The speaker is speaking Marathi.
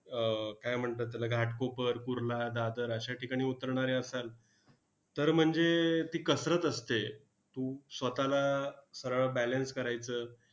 अह काय म्हणतात त्याला? घाटकोपर, कुर्ला, दादर अश्या ठिकाणी उतरणारे असाल, तर म्हणजे ती कसरत असते. स्वतःला सरळ balance करायचं.